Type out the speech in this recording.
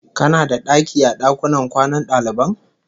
Kana da daki a dakunan kwanan daliban?